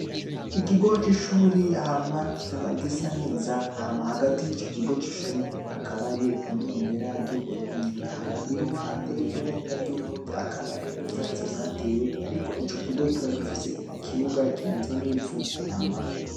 Ikigo c'ishuri hama kikaba gisa neza hama hagati yico kigo c'ishuri hakaba hariyo ibendera ry'Uburundi hama iruhande yiryo bendera ry'Uburundi hakaba hariyo ivyatsi vyatewe ariko ico kigo kikaba gifise ikibuga kimeze nk'ivu.